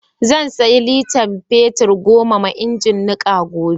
Za siya litar fetir goma ma ingin niƙa gobe.